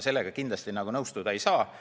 Sellega ma kindlasti nõustuda ei saa.